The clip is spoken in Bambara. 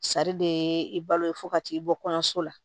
de ye i balo ye fo ka t'i bɔ kɔɲɔso la